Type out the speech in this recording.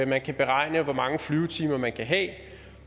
man kan beregne hvor mange flyvetimer man kan have